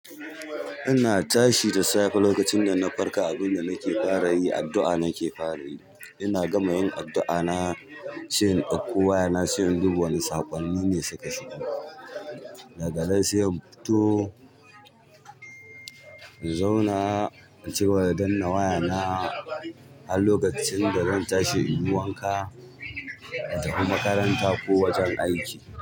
Ina tashi da safe lokacin da na farka, abin da nake fara yi addu'a nake fara yi. Ina gama yin addu'a na sai in ɗauko wayana sai in duba wane saƙonnine suka shigo. Daganan sai in fito in zauna in cigaba da danna waya na har lokacin dazan tashi inyi wanka intafi makaranta ko wajen aiki.